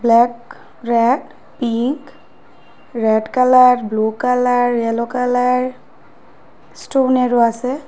Black red pink red colour blue colour yellow colour স্টোনেরও আসে ।